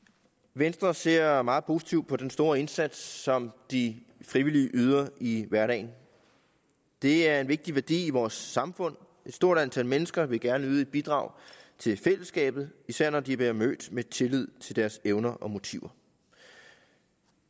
venstre ser meget positivt på den store indsats som de frivillige yder i hverdagen det er en vigtig værdi i vores samfund et stort antal mennesker vil gerne yde et bidrag til fællesskabet især når de bliver mødt med tillid til deres evner og motiver